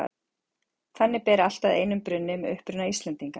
Þannig ber allt að einum brunni um uppruna Íslendinga.